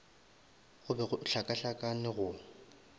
go be go hlakahlakane go